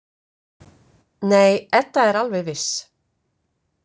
Nei, Edda er alveg viss.